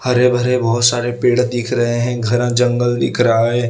हरे भरे बहोत सारे पेड़ दिख रहे है घना जंगल दिख रहा है।